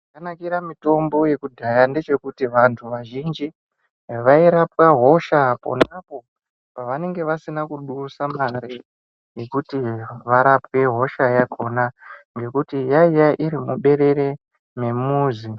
Chakanakira mitombo yekudhaya ndechekuti vantu vazhinji vairapwa hosha ponapo pavanenge vasina kudusa mare yekuti varapwe hosha yakona ngekuti yainga iri muberere memuzi.